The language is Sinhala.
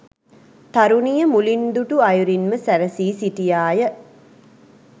තරුණිය මුලින් දුටු අයුරින්ම සැරසී සිටියා ය.